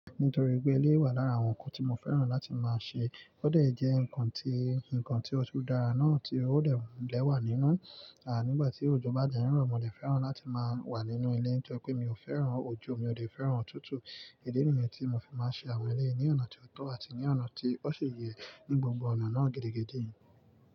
Nítorí pé eléré wà lára àwọn nǹkan tí mo fẹ́ràn láti máa ṣe, ó dẹ̀ jẹ́ ǹkan tí, ǹkan tí otún dára náà tí ó dé lè wà nínú, à nígbà tí òjò bá dẹ̀ ń rọ̀ mo dẹ̀ fẹ́ràn láti máa wà nínú ilé torí pé mi ò fẹ́ràn òjò, mi ò dẹ̀ fẹ́ràn òtútù. Ìdí nìyẹn tí mo fi máa ń ṣe àwọn eré ní ọ̀nà tí ó tó àti ní ọ̀nà tí ó ṣi yẹ ni gbogbo ọ̀nà náà gidi gidì.